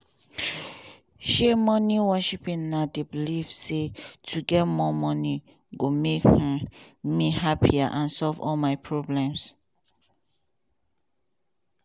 um money worship na di belief say to get more money go make um me happier and solve all my problems.